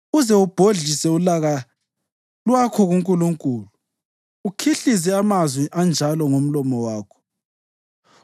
uze ubhodlise ulaka lwakho kuNkulunkulu ukhihlize amazwi anjalo ngomlomo wakho?